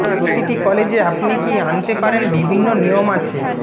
প্রতিটি কলেজে আপনি কি আনতে পারেন বিভিন্ন নিয়ম আছে